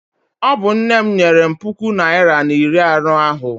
Ọ bụ nne m nyere m puku naịra na iri anọ ahụ.